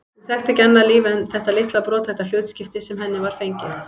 Hún þekkti ekki annað líf en þetta litla brothætta hlutskipti sem henni var fengið.